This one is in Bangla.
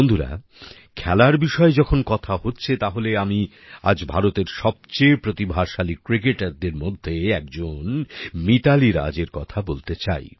বন্ধুরা খেলার বিষয় যখন কথা হচ্ছে তাহলে আমি আজ ভারতের সবচেয়ে প্রতিভাশালী ক্রিকেটারদের মধ্যে একজন মিতালি রাজ এর কথা বলতে চাই